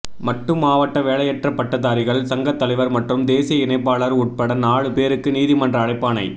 மட்டு மாவட்ட வேலையற்ற பட்டதாரிகள் சங்க தலைவர் மற்றும் தேசிய இணைப்பாளர் உட்பட நாலு பேருக்கு நீதிமன்ற அழைப்பாணை